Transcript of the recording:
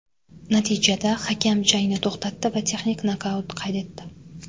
Natijada hakam jangni to‘xtatdi va texnik nokaut qayd etdi.